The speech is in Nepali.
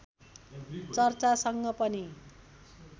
चर्चासँग पनि